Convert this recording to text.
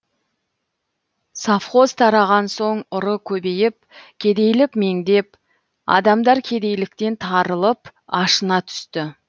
совхоз тараған соң ұры көбейіп кедейлік меңдеп адамдар кедейліктен тарылып ашына түсті